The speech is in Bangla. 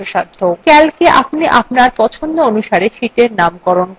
calcএ আপনি আপনার পছন্দ অনুসারে sheetsএর নাম পরিবর্তন করতে পারেন